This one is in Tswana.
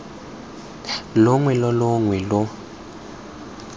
longwe lo longwe lo lo